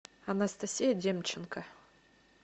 анастасия демченко